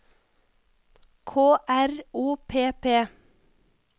K R O P P